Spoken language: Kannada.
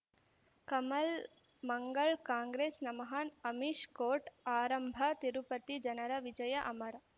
ಕಮಲ್ ಮಂಗಳ್ ಕಾಂಗ್ರೆಸ್ ನಮಃ ಅಮಿಷ್ ಕೋರ್ಟ್ ಆರಂಭ ತಿರುಪತಿ ಜನರ ವಿಜಯ ಅಮರ್